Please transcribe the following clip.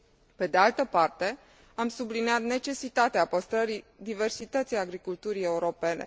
Pe de altă parte, am subliniat necesitatea păstrării diversității agriculturii europene.